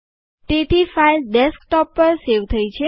તેથી file desktop પર save થઇ છે